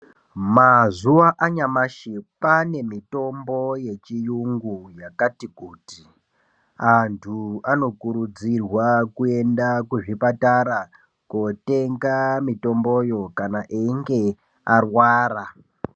Mazuva anyamashi kwane mitombo yechiyungu yakati kuti. Antu anokurudzirwa kuenda kuzvipatara kotenga mitomboyo kana einge arwara.